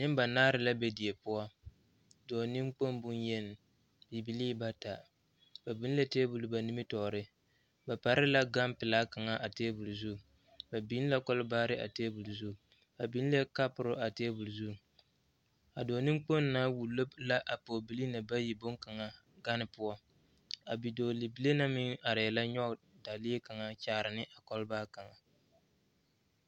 Nimbanaare la be die poɔ dɔɔ niŋkpoŋ bonyeni bibilee bata ba biŋ la tabol ba nimitɔɔre ba pare la gaŋ pilaa kaŋ a tabol zu ba biŋ la kɔlibaare a tabol zu ba biŋ la kapori a tabol zu a dɔɔ niŋkpoŋ na wullo la a bibilee na boŋlaŋa gane poɔ a bidɔɔbile na arɛɛ la nyɔge dalee kaŋa kyaare ne a kɔlnaa kaŋa.